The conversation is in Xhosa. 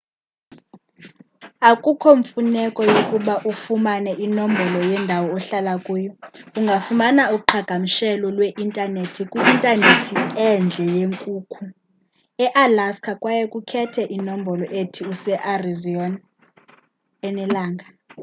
akukho mfuneko yokuba ufumane inombolo yendawo ohlala kuyo ungafumana uqhagamshelo lwe-intanethi kwi-intanethi endle yenkukhu ealaska kwaye ukhethe inombolo ethi usearizona enelanga